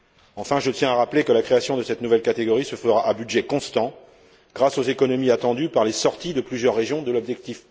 Enfin, je tiens à rappeler que la création de cette nouvelle catégorie se fera à budget constant, grâce aux économies attendues par les sorties de plusieurs régions de l'objectif